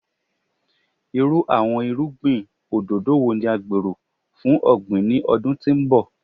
Iru awọn irugbin ododo wo ni a gbero fun ogbin ni ọdun ti n bọ?